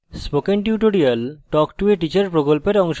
spoken tutorial talk to a teacher প্রকল্পের অংশবিশেষ